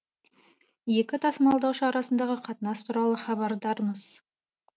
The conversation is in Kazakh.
екі тасымалдаушы арасындағы қатынас туралы хабардармыз